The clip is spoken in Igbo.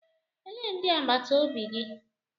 Elee ndị agbata obi gị?